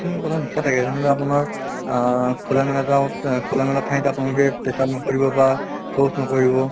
কিছুমান কথা লিখা থাকে যেনেকুৱা আপোনাৰ আহ আহ খোলা মেলা ঠাইত আপোনালোকে পেচাব নকৰিব বা শৌচ নকৰিব